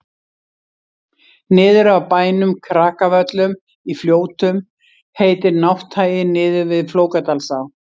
niður af bænum krakavöllum í fljótum heitir nátthagi niður við flókadalsá